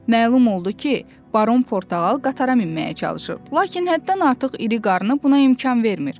Məlum oldu ki, baron portağal qatara minməyə çalışır, lakin həddindən artıq iri qarnı buna imkan vermir.